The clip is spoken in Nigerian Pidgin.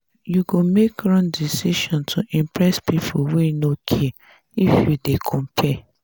you go make wrong decision to impress pipo wey no care if you dey compare.